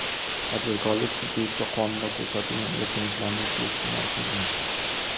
Tadbirkorlik subyekti qonunda ko‘rsatilgan erkinliklarni suiiste’mol qilgan.